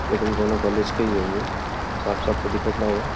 लेकिन कोनो कॉलेज के ई हउवे। साफ-साफ त दिखत नाई बा।